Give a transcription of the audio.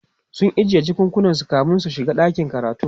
sun ajiye jakakunan su kamin su shiga ɗakin karatun